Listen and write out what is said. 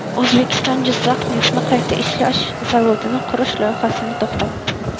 O‘zbekiston Jizzax neftni qayta ishlash zavodini qurish loyihasini to‘xtatdi.